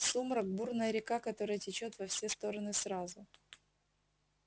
сумрак бурная река которая течёт во все стороны сразу